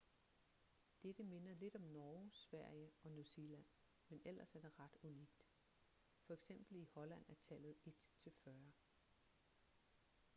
dette minder lidt om norge sverige og new zealand men ellers er det ret unikt f.eks. i holland er tallet et til fyrre